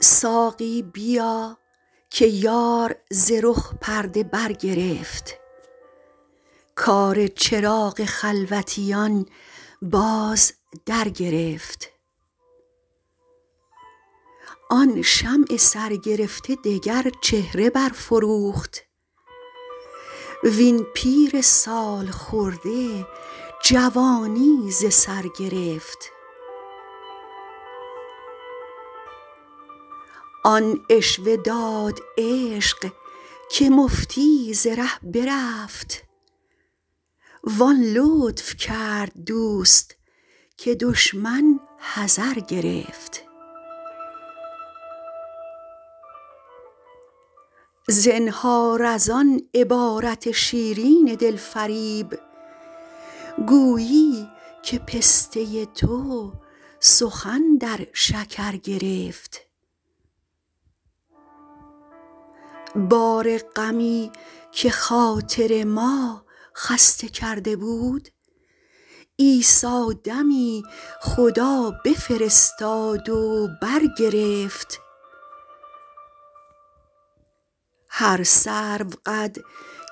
ساقی بیا که یار ز رخ پرده برگرفت کار چراغ خلوتیان باز درگرفت آن شمع سرگرفته دگر چهره برفروخت وین پیر سال خورده جوانی ز سر گرفت آن عشوه داد عشق که مفتی ز ره برفت وان لطف کرد دوست که دشمن حذر گرفت زنهار از آن عبارت شیرین دل فریب گویی که پسته تو سخن در شکر گرفت بار غمی که خاطر ما خسته کرده بود عیسی دمی خدا بفرستاد و برگرفت هر سروقد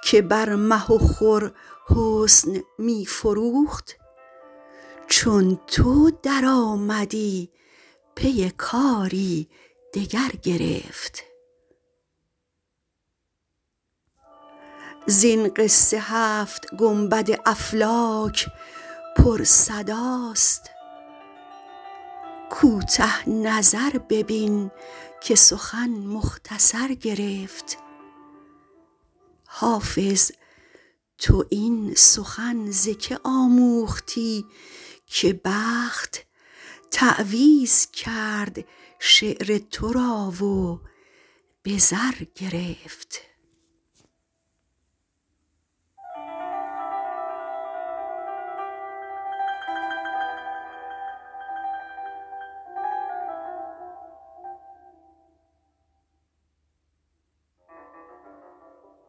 که بر مه و خور حسن می فروخت چون تو درآمدی پی کاری دگر گرفت زین قصه هفت گنبد افلاک پرصداست کوته نظر ببین که سخن مختصر گرفت حافظ تو این سخن ز که آموختی که بخت تعویذ کرد شعر تو را و به زر گرفت